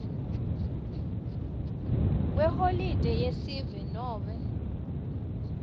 kweholide yesive nobe